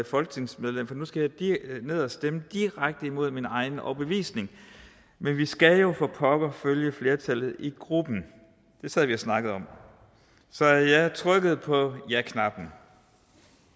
folketingsmedlem for nu skal jeg ned og stemme direkte imod min egen overbevisning men vi skal jo for pokker følge flertallet i gruppen det sad vi og snakkede om så jeg trykkede på jaknappen